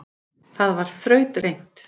Það var þrautreynt